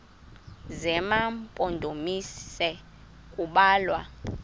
zema mpondomise kubalwa